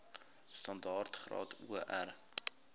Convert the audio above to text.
standaard graad or